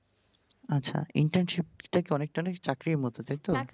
আচ্ছা internship টা কি অনেকটা চাকরির মতো তাইতো?